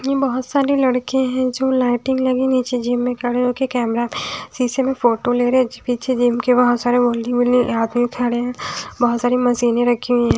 ये बहोत सारे लड़के हैं जो लाइटिंग लगी नीचे जिम में खड़े होके कैमरे शीशे में फोटो ले रहे हैं पीछे जिम के बहोत सारे आदमी खड़े हैं बहोत सारी मशीनें रखी हुई हैं।